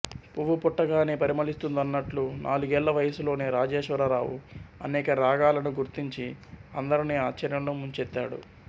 పువ్వు పుట్టగానే పరిమళిస్తుందన్నట్లు నాలుగేళ్ళ వయసులోనే రాజేశ్వరరావు అనేక రాగాలను గుర్తించి అందరినీ ఆశ్చర్యంలో ముంచెత్తాడు